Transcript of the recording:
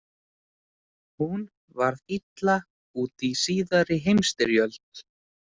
Hún varð illa úti í Síðari heimsstyrjöld.